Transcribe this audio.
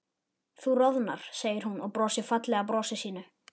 Þú roðnar, segir hún og brosir fallega brosinu sínu.